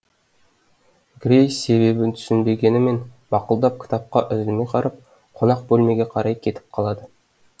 грейс себебін түсінбегенімен мақұлдап кітапқа үзілмей қарап қонақ бөлмеге қарай кетіп қалады